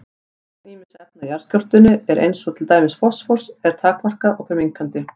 Magn ýmissa efna í jarðskorpunni eins og til dæmis fosfórs er takmarkað og fer minnkandi.